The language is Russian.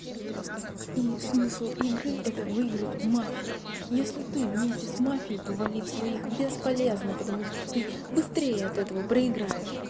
и смысл игры это выиграть у мафии если ты вместе с мафией то валить своих бесполезно потому что ты быстрее от этого проиграешь